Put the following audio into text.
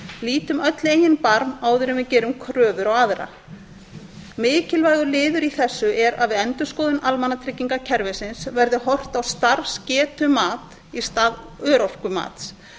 lítum öll í eigin barm og áður en við gerum kröfur á aðra mikilvægur liður í þessu er að við endurskoðun almannatryggingakerfisins verði horft á starfsgetumat í stað örorkumats